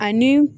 Ani